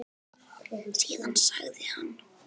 Síðan sagði hann